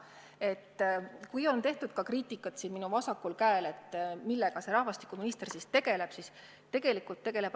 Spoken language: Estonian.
Siin minust vasakul on tehtud kriitikat, millega rahvastikuminister ikkagi tegeleb.